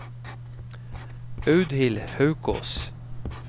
Audhild Haukås